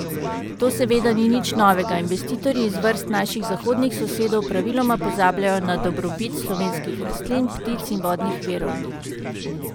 To seveda ni nič novega, investitorji iz vrst naših zahodnih sosedov praviloma pozabljajo na dobrobit slovenskih rastlin, ptic in vodnih virov.